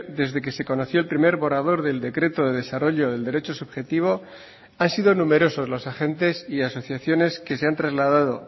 desde que se conoció el primer borrador del decreto de desarrollo del derecho subjetivo han sido numerosos los agentes y asociaciones que se han trasladado